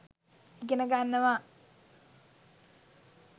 ඉගෙන ගන්නවා.